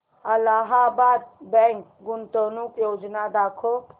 Allahabad bank गुंतवणूक योजना दाखव